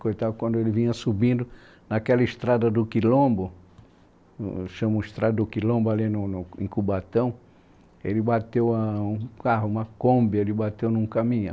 Coitado, quando ele vinha subindo naquela estrada do Quilombo, chama-se estrada do Quilombo, ali no no em Cubatão, ele bateu um carro, uma Kombi, ele bateu num caminhão.